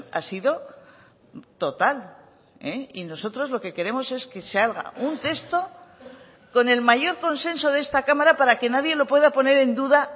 ha sido total y nosotros lo que queremos es que salga un texto con el mayor consenso de esta cámara para que nadie lo pueda poner en duda